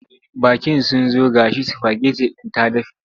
Baƙin sun zo ga shi sifageti din ta dafe.